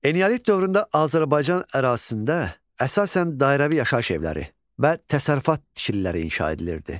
Eneolit dövründə Azərbaycan ərazisində əsasən dairəvi yaşayış evləri və təsərrüfat tikililəri inşa edilirdi.